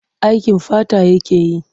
Aikin fata yake yi.